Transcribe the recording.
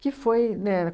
Que foi, né?